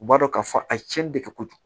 U b'a dɔn k'a fɔ a ye cɛnni de kɛ kojugu